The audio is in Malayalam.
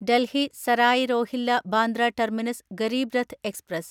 Delhi Sarai Rohilla Bandra terminus Garib Rath express